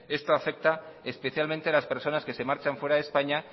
esto afecta especialmente a las personas que se marchan fuera de españa